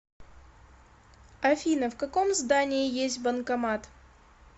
афина в каком здании есть банкомат